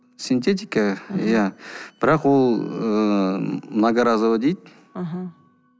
синтетика иә бірақ ол ыыы многоразовый дейді аха